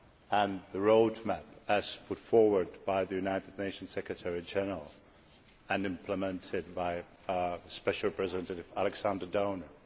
and the road map as put forward by the United Nation's Secretary General and implemented by special representative Alexander Downer.